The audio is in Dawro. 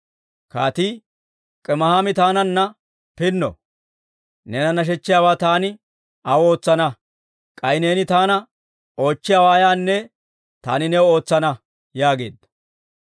Kaatii, «Kimihaami taananna pinno; neena nashechchiyaawaa taani aw ootsana. K'ay neeni taana oochchiyaawaa ayaanne taani new ootsana» yaageedda.